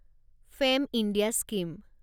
fame India scheme